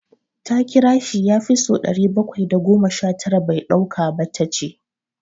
Ta kira shi ya fi so ɗari bakwai da goma sha tara bai ɗauka ba, Ta ce.